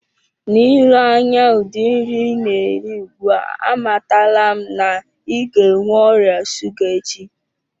N'ile anya udi nri ina eri ugbua amatala m na i ga enwe oria shuga echi.